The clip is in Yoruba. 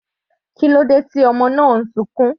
Kílódé tí ọmọ sunkún?